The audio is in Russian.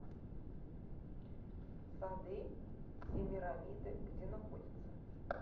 сады семирамиды где находится